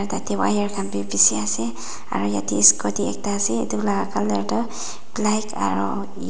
ete wire khan bi bishi ase aru ete scooty ekta ase etu la colour tu black aru yellow .